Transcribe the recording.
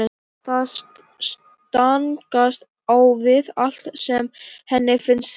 Það stangast á við allt sem henni finnst rétt.